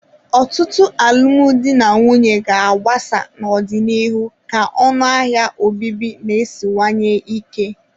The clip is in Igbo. Ọtụtụ alụmdi na nwunye ga-agbasasị n'ọdịnihu ka ọnụ ahịa obibi na-esiwanye ike.